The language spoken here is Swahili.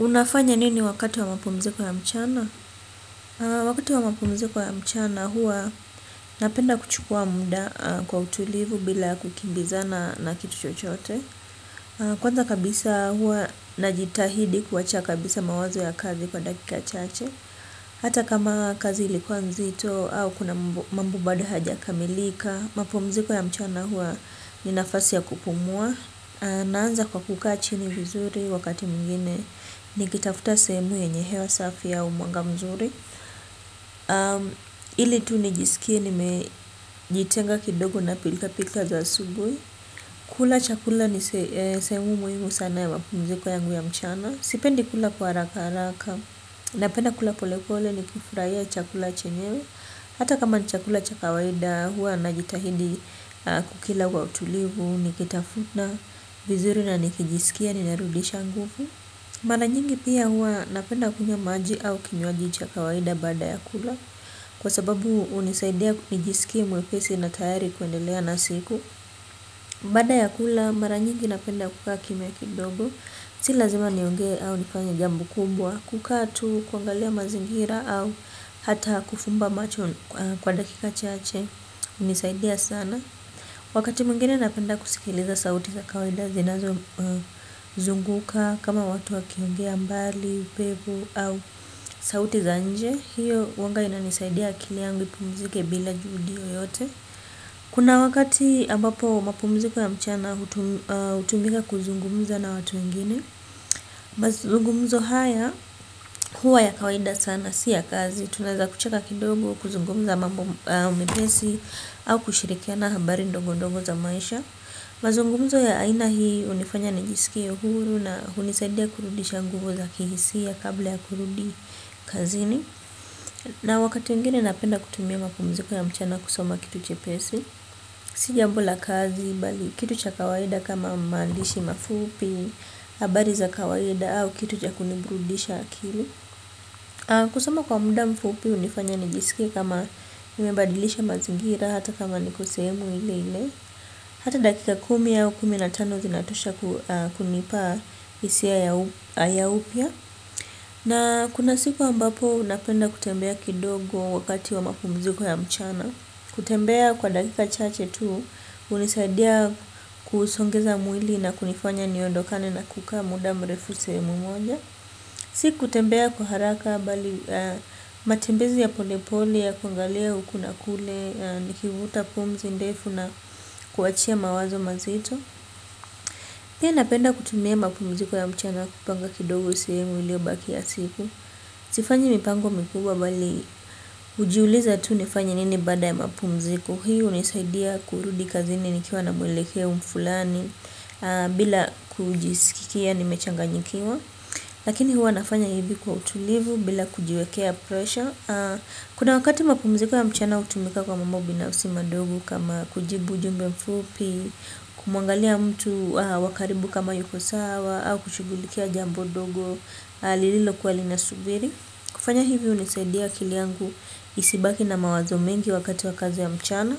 Unafanya nini wakati wa mpumziko ya mchana? Wakati wa mpumziko ya mchana hua napenda kuchukua muda kwa utulivu bila kukimbizana na kitu chochote. Kwanza kabisa hua najitahidi kuwacha kabisa mawazo ya kazi kwa dakika chache. Hata kama kazi ilikuwa mzito au kuna mambo bado hayajakamilika. Mapumziko ya mchana hua ni nafasi ya kupumua. Naanza kwa kukaa chini vizuri wakati mwngine nikitafuta sehemu yenye hewa safi au mwanga mzuri. Ili tu nijisikie nimejitenga kidogo na pilka pilka za aubuhi. Kula chakula ni sehemu muhimu sana ya mapumziko ya mchana. Sipendi kula kwa haraka haraka. Napenda kula polepole nikifurahia chakula chenyewe. Hata kama ni chakula cha kawaida hua najitahidi kukila kwa utulivu nikitafuna vizuri na nikijisikia narudisha nguvu. Mara nyingi pia huwa napenda kunywa maji au kinywaji cha kawaida baada ya kula kwa sababu hunisaidia nijiskie mwepesi na tayari kuendelea na siku bada ya kula mara nyingi napenda kukaa kimya kidogo si lazima nionge au nifanye jambo kubwa kukaa tu, kuangalia mazingira au hata kufumba macho kwa dakika chache hunisaidia sana. Wakati mwngine napenda kusikiliza sauti za kawaida zinazozunguka kama watu wakiongea mbali, pevu au sauti za nje. Hiyo huwanga inanisaidia akili yangu ipumzike bila juhudi yoyote. Kuna wakati ambapo mapumziko ya mchana hutumika kuzungumza na watu wengine. Mazungumzo haya huwa ya kawaida sana si ya kazi. Tunaeza kucheka kidogo, kuzungumza mambo mepesi au kushirikiana habari ndogo ndogo za maisha. Mazungumzo ya aina hii hunifanya nijisikie huru na hunisaidia kurudisha nguvu za kihisia kabla ya kurudi kazini. Na wakati mwingine napenda kutumia mapumziko ya mchana kusoma kitu chepesi. Si jambo la kazi, bali kitu cha kawaida kama maandishi mafupi, habari za kawaida au kitu cha kuniburudisha akili. Kusoma kwa muda mfupi hunifanya nijisikie kama nimebadilisha mazingira hata kama niko sehemu ile ile. Hata dakika kumi au kumi na tano zinatosha kunipa hisia ya upya. Na kuna siku ambapo unapenda kutembea kidogo wakati wa mapumziko ya mchana. Kutembea kwa dakika chache tu hunisaidia kusongeza mwili na kunifanya niondokane na kukaa muda mrefu sehemu moja. Siku tembea kwa haraka bali matembezi ya pole pole ya kuangalia huku na kule nikivuta pumzi ndefu na kuachia mawazo mazito. Pia napenda kutumia mapumziko ya mchana kupanga kidogo sehemu iliyobaki ya siku. Sifanyi mipango mikubwa bali hujiuliza tu nifanye nini baada ya mapumziko. Hii hunisaidia kurudi kazini nikiwa na mwelekeo mfulani bila kujisikia nimechanganyikiwa. Lakini huwa nafanya hivi kwa utulivu bila kujiwekea pressure. Kuna wakati mapumziko ya mchana hutumika kwa mambo binafsi madogo kama kujibu ujumbe mfupi. Kumuangalia mtu wa karibu kama yuko sawa au kushughulikia jambo dogo lililo kuwa linasubiri kufanya hivi hunisaidia akili yangu isibaki na mawazo mengi wakati wa kazi ya mchana.